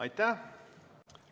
Aitäh!